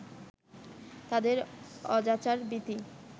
তাদের অজাচার-ভীতি